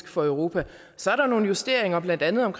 for europa så er der nogle justeringer blandt andet om